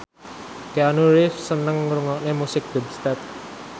Keanu Reeves seneng ngrungokne musik dubstep